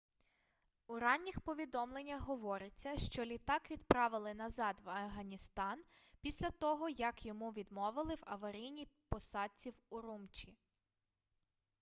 у ранніх повідомленнях говориться що літак відправили назад в афганістан після того як йому відмовили в аварійній посадці в урумчі